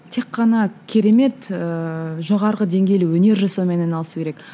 тек қана керемет ііі жоғарғы деңгейлі өнер жасаумен айналысу керек